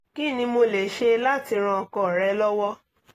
kí ni mo lè ṣe láti ran ọkọ rẹ̀ lọ́wọ́?